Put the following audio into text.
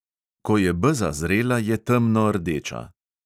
Ko je beza zrela, je temnordeča.